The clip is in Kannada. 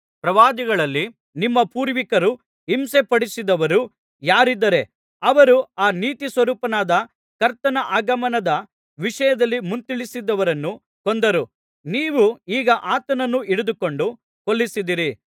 ಪ್ರವಾದಿಗಳಲ್ಲಿ ನಿಮ್ಮ ಪೂರ್ವಿಕರು ಹಿಂಸೆಪಡಿಸದವರು ಯಾರಿದ್ದಾರೆ ಅವರು ಆ ನೀತಿಸ್ವರೂಪನಾದ ಕರ್ತನ ಆಗಮನದ ವಿಷಯದಲ್ಲಿ ಮುಂತಿಳಿಸಿದವರನ್ನು ಕೊಂದರು ನೀವು ಈಗ ಆತನನ್ನು ಹಿಡಿದುಕೊಟ್ಟು ಕೊಲ್ಲಿಸಿದ್ದೀರಿ